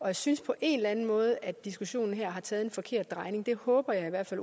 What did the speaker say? jeg synes på en eller anden måde at diskussionen her har taget en forkert drejning og det håber jeg i hvert fald